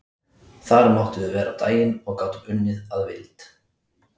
Þar máttum við vera á daginn og gátum unnið að vild.